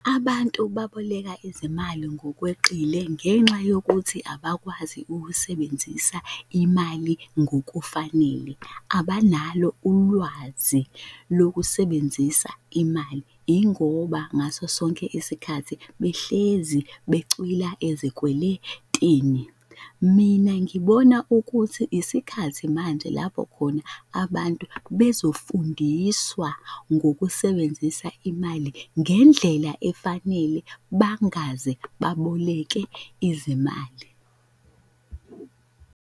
Abantu baboleka izimali ngokweqile ngenxa yokuthi abakwazi ukusebenzisa imali ngokufanele, abanalo ulwazi lokusebenzisa imali. Yingoba ngaso sonke isikhathi behlezi becwila ezikweletini. Mina ngibona ukuthi isikhathi manje lapho khona abantu bezofundiswa ngokusebenzisa imali ngendlela efanele bangaze baboleke izimali.